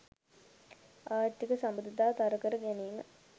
ආර්ථික සබඳතා තර කර ගැනීම